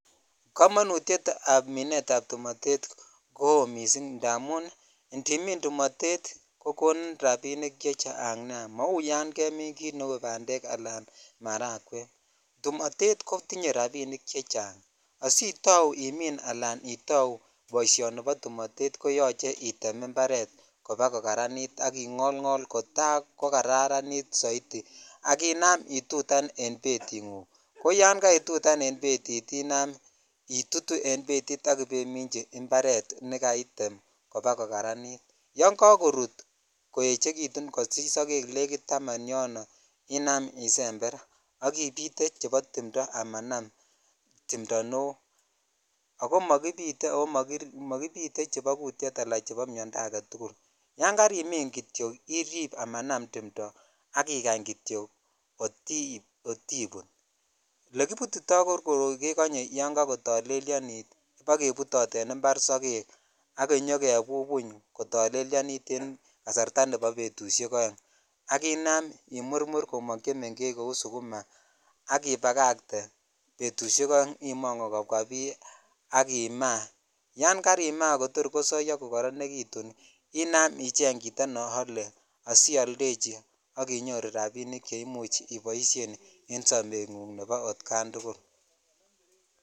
Komonutyet ab minet ab tumitet ko missing idamun indimin tumotetko konin rabinik chechang nia mau yan kein kit neu bandek alan marangwek tumotet kotinye rabinik chechang asitau imin ala itau boishoni bo tumotet koyoche item imparet kobakokaranitak ingol ngol kotaa kokararanit soiti ak inam itutan en betit ko yan kaitutan en betit inamitutu en betit ak ibemichi imparet nekaitem kobakokaranit yon kakorut ii koechekitun kosich sogek itik negit taman yon inam isember ak ibitee chebo timto amanam timto neo ako mokibitee chebo kutyet alachebo miondoo aketukul yann jarimin kityok imin amanam timto ak ikany kityok kot ibut , olekibutitoi koroi kekonye yon kakotollyonit ibagebutot en impar sogek ak iyokebubuny kotolelyonolitun kasarta nebo betushek mut ak inam imurmur komok chemengech kou sukuma ak ibagatee betushek oeng I.ongu kobemwa bii ak imaa yankarima kotor kosoyoo kokorionitun inam icheng chito ne ole asioldechib ak inyoru rabinik nebo boishenguk nebo otkan tukul.